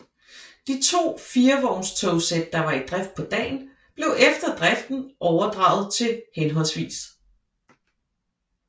De to firevognstogsæt der var i drift på dagen blev efter driften overdraget til hhv